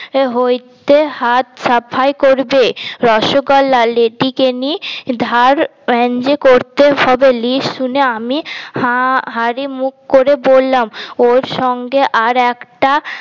হইতে হাত সাফাই করবে রসগোল্লা লেদিকেনি ধার করতে হবে list শুনে আমি হাঁ হাড়ি মুখ করে বললাম ওর সঙ্গে আর একটা